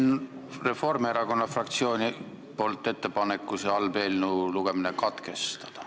Teen Reformierakonna fraktsiooni nimel ettepaneku selle halva eelnõu lugemine katkestada.